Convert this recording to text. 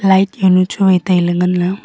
light jawnu chu wai tailey nganley.